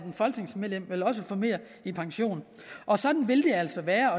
folketingsmedlem vel også får mere i pension og sådan vil det altså være